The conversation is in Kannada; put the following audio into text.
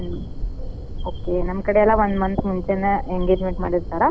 Okay ನಮ್ ಕಡೆಲ್ಲಾ ಒಂದ್ month ಮುಂಚೇನ engagement ಮಾಡಿರ್ತಾರ ಇವೆಲ್ಲ function ಮದ್ವಿ ಹಿಂದಿನ್ ದಿನಾ ಇರ್ತವ್.